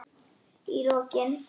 Í lokin.